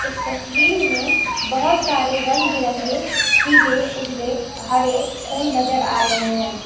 इस तस्वीर में बहोत सारे रंग बिरंगे पीले उजले हरे फूल नजर आ रहे है।